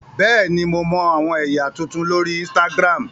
Bẹẹni, Mo mọ awọn ẹya tuntun lori Instagram.